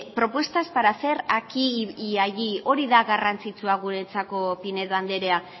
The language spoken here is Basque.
propuestas para hacer aquí y allí hori da garrantzitsua guretzako pinedo andrea